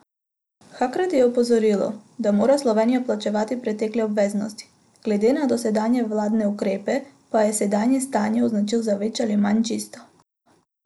Hkrati je opozoril, da mora Slovenija plačevati pretekle obveznosti, glede na dosedanje vladne ukrepe pa je sedanje stanje označil za več ali manj čisto.